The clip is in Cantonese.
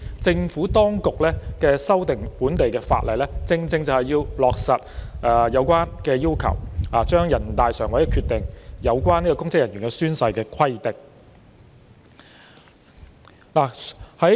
政府當局這次修訂本地法例，正是為了落實全國人大常委會的決定中有關公職人員宣誓的規定。